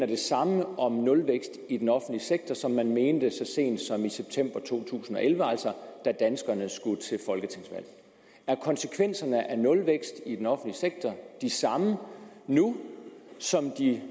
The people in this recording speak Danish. det samme om nulvækst i den offentlige sektor som man mente så sent som i september to tusind og elleve da danskerne skulle til folketingsvalg er konsekvenserne af nulvækst i den offentlige sektor de samme nu som de